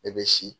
Ne bɛ si